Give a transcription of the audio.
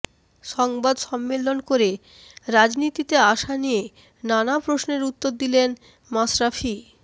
সংবাদ সম্মেলন করে রাজনীতিতে আসা নিয়ে নানা প্রশ্নের উত্তর দিলেন মাশরাফি